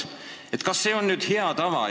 Kas see on hea tava?